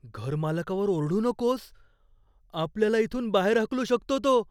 घरमालकावर ओरडू नकोस. आपल्याला इथून बाहेर हाकलू शकतो तो.